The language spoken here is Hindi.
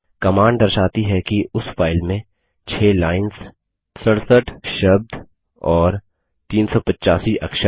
कमांड दर्शाती है कि उस फाइल में 6 लाइन्स 67 शब्द और 385 अक्षर हैं